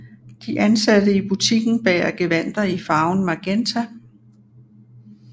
De ansatte i butikken bærer gevandter i farven magenta